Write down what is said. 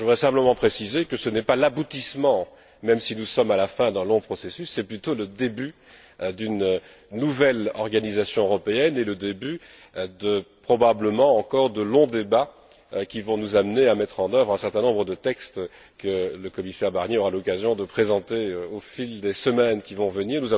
Je voudrais simplement préciser que ce n'est pas l'aboutissement, même si nous sommes à la fin d'un long processus, c'est plutôt le début d'une nouvelle organisation européenne et le début, probablement encore, de longs débats qui vont nous amener à mettre en œuvre un certain nombre de textes que le commissaire Barnier aura l'occasion de présenter au fil des semaines qui vont venir.